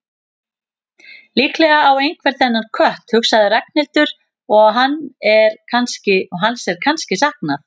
Líklega á einhver þennan kött, hugsaði Ragnhildur, og hans er kannski saknað.